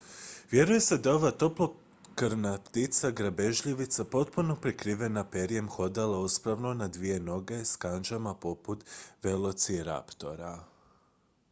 vjeruje se da je ova toplokrvna ptica grabežljivica potpuno prekrivena perjem hodala uspravno na dvije noge s kandžama poput velociraptora